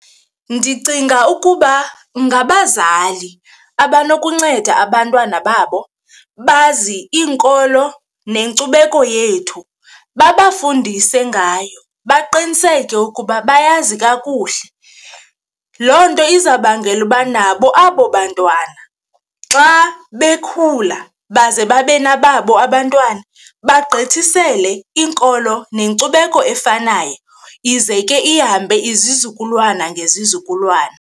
Ndicinga ukuba ngabazali abanokunceda abantwana babo bazi iinkolo nenkcubeko yethu, babafundise ngayo baqiniseke ukuba bayazi kakuhle. Loo nto izawubangela uba nabo abo bantwana xa bekhula baze babe nababo abantwana, bagqithisele iinkolo nenkcubeko efanayo ize ke ihambe izizukulwana ngezizukulwana.